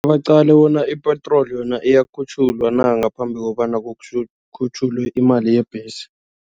Baqale bona ipetroli yona iyakhutjhulwa na ngaphambi kobana kukhutjhulwe imali yebhesi.